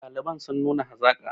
ɗaliban sun nuna hazaƙa